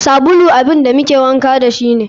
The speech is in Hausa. Sabulu abun da muke wanka dashi ne.